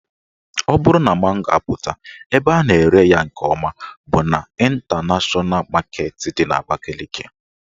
Ọ bụrụ na mango apụta, ebe a na-ere ya nke ọma bụ n' Ịntanashọna Maketi dị n'Abakaliki